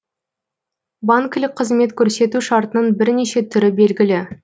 банкілік қызмет көрсету шартының бірнеше түрі белгілі